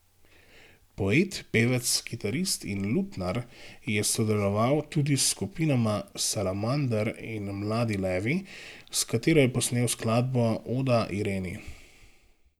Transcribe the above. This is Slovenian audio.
Poet, pevec, kitarist in lutnjar je sodeloval tudi s skupinama Salamander in Mladi levi, s katero je posnel skladbo Oda Ireni.